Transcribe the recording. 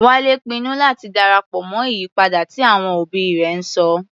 Wálé pinnu láti darapọ̀ mọ́ ìyípadà tí àwọn òbí rẹ̀ ń sọ.